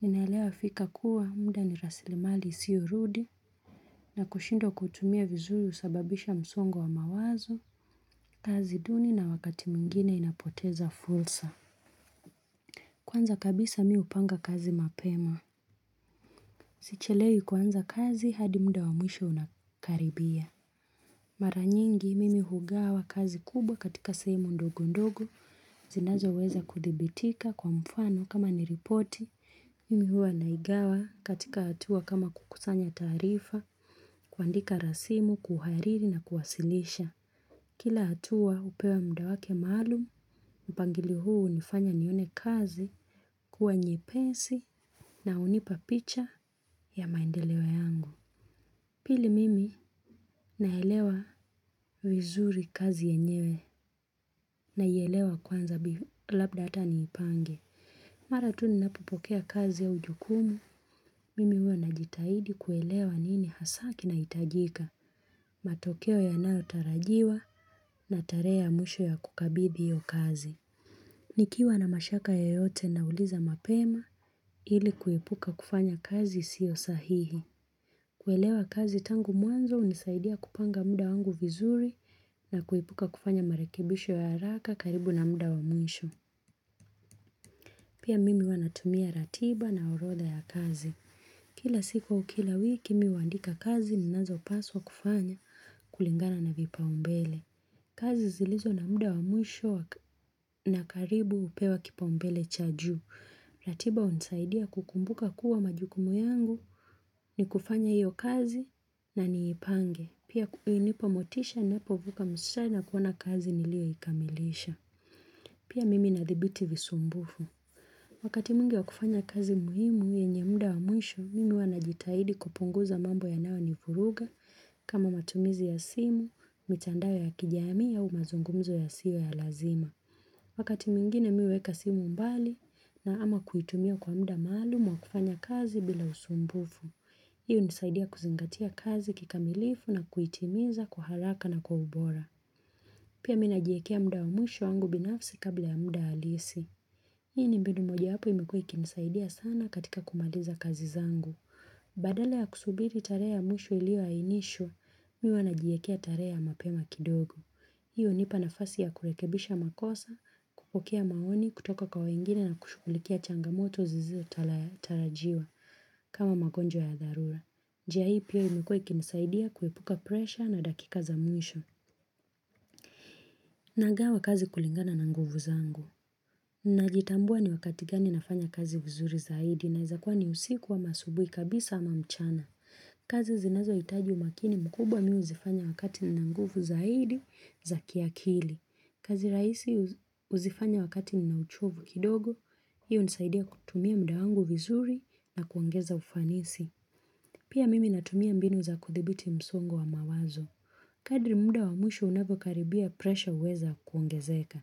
ninaelewa fika kuwa mmda ni raslimali iyosiurudi na kushindwa kutuumia vizuri husababisha msongo wa mawazo, kazi duni na wakati mwingine inapoteza fursa. Kwanza kabisa mi upanga kazi mapema. Sichelewi kuanza kazi hadi muda wa mwisho unakaribia. Mara nyingi mimi hugawa kazi kubwa katika sehemu ndogo ndogo, zinazo weza kudhibitika kwa mfano kama ni ripoti, mimi hua naigawa katika hatua kama kukusanya taarifa, kuandika rasimu, kuhariri na kuwasilisha. Kila hatua upewa muda wake maalum, mpangilio huu unifanya nione kazi kuwa nyepesi na unipa picha ya maendeleo yangu. Pili mimi naelewa vizuri kazi yenyewe naielewa kwanza labda hata niipange. Mara tu ninapopokea kazi au ujukumu, mimi huwa najitahidi kuelewa nini hasa kinahitajika. Matokeo yanayotarajiwa na tarehr mwisho ya kukabidhi hiyo kazi. Nikiwa na mashaka yeyote nauliza mapema ili kuepuka kufanya kazi isio sahihi. Kwelewa kazi tangu mwanzo unisaidia kupanga muda wangu vizuri na kuipuka kufanya marekibisho ya haraka karibu na muda wa mwisho. Pia mimi huwa natumia ratiba na urodha ya kazi. Kila siku au kila wiki mimi huandika kazi ninazopaswa kufanya kulingana na vipaumbele. Kazi zilizo na muda wa mwisho na karibu upewa kipaumbele cha juu. Ratiba unisaidia kukumbuka kuwa majukumu yangu ni kufanya hiyo kazi na niipange. Pia ininapa motisha ninapovuka mstari na kuona kazi niliyoikamilisha. Pia mimi nathabiti visumbufu. Wakati mingi wa kufanya kazi muhimu, yenye muda wa mwisho, mimi huwa najitahidi kupunguza mambo yanayo nivuruga kama matumizi ya simu, mitandao ya kijamii au mazungumzo yasiyo ya lazima Wakati mmingine mimi huweka simu mbali na ama kuitumia kwa muda maalum wa kufanya kazi bila usumbufu Hii unisaidia kuzingatia kazi kikamilifu na kuitimiza kwa haraka na kwa ubora Pia mimi najiekea muda wa mwisho wangu binafsi kabla ya muda halisi Hii ni mbinu mojawapo imekua ikinisaidia sana katika kumaliza kazi zangu. Badala ya kusubiri tarehe ya mwisho iliyoainishwa, mimi huwa najiekea tarehe ya mapema kidogo. Hiyo ni hupa nafasi ya kurekebisha makosa, kupokea maoni, kutoka kwa wengine na kushughulikia changamoto zizotarajiwa kama magonjwa ya dharura. Njia hii pia imekua ikinisaidia kuepuka presha na dakika za mwisho. Nagawa kazi kulingana na nguvu zangu. Najitambua ni wakati gani nafanya kazi vizuri zaidi inaeza kuwa ni usiku ama asubui kabisa ama mchana. Kazi zinazo hitaji umakini mkubwa mimi huzifanya wakati nina nguvu zaidi za kiakili. Kazi rahisi uzifanya wakati nina uchovu kidogo. Hiyo hunisaidia kutumia muda wangu vizuri na kuongeza ufanisi. Pia mimi natumia mbinu za kuthibiti msongo wa mawazo. Kadri muda wa mwisho unakokaribia presha uweza kuongezeka.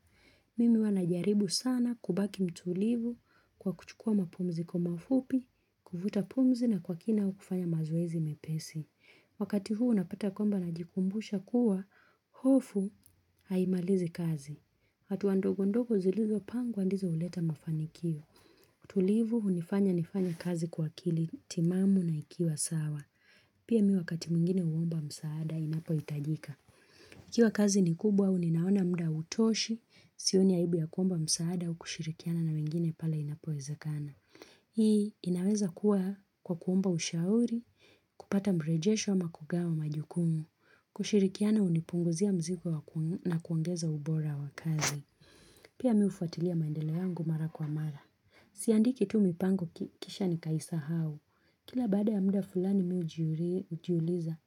Mimi huwa najaribu sana kubaki mtulivu kwa kuchukua mapumzi kwa mafupi, kuvuta pumzi na kwa kina au kufanya mazoezi mepesi. Wakati huu unapata kwamba najikumbusha kuwa, hofu haimalizi kazi. Hatua ndogo ndogo zilizo pangwa ndizo uleta mafanikio utulivu unifanya nifanye kazi kwa akili timamu na ikiwa sawa. Pia mi wakati mwingine uomba msaada, inapohitajika. Ikiwa kazi ni kubwa, au ninaona muda hautoshi, sioni aibu ya kuomba msaada, au kushirikiana na wengine pale inapowezakana. Hii, inaweza kuwa kwa kuomba ushauri, kupata mrejesho ama kugawa majukumu, kushirikiana unipunguzia mzigo na kuangeza ubora wa kazi. Pia mimi hufatilia maendeleo yangu mara kwa mara. Siandiki tu mipango kisha nikaisahau Kila baada ya muda fulani mimi ujiuliza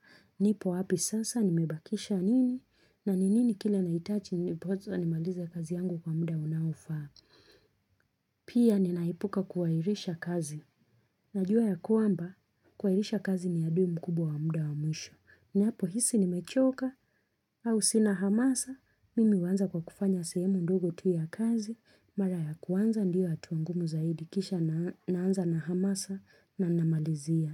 nipo wapi sasa nimebakisha nini na ni nini kile naitachi ndopoza nimalize kazi yangu kwa muda unaofaa. Pia ninaipuka kuhairisha kazi. Najua ya kuamba kuhairisha kazi ni adui mkubwa wa muda wa mwisho. Ninapo hisi nimechoka au sina hamasa, mimi uanza kwa kufanya sehemu ndogo tu ya kazi, mara ya kuanza ndio hatua ngumu zaidi kisha naanza na hamasa na namalizia.